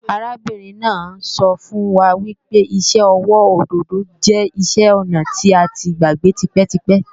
Arábìnrin náà ń sọ fún wa pé iṣẹ́ ọwọ́ òdòdó jẹ́ iṣẹ́-ọnà tí a ti gbàgbé tipẹ́tipẹ́